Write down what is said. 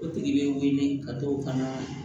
O tigi bɛ wele ka t'o ka na